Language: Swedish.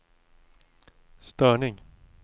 störning